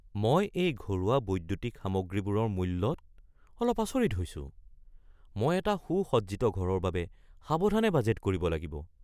মই এই ঘৰুৱা বৈদ্যুতিক সামগ্ৰীবোৰৰ মূল্যত অলপ আচৰিত হৈছোঁ, মই এটা সুসজ্জিত ঘৰৰ বাবে সাৱধানে বাজেট কৰিব লাগিব।